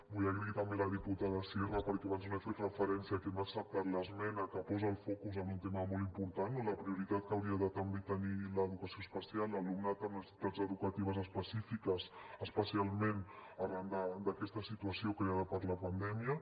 vull donar les gràcies també a la diputada sierra perquè abans no hi he fet referència que m’ha acceptat l’esmena que posa el focus en un tema molt important la prioritat que hauria de també tenir l’educació especial l’alumnat amb necessitats educatives específiques especialment arran d’aquesta situació creada per la pandèmia